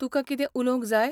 तुकां कितें उलोवंक जाय?